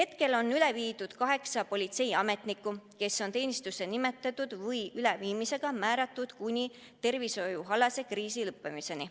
Üle on viidud kaheksa politseiametnikku, kes on teenistusse määratud kuni tervishoiukriisi lõppemiseni.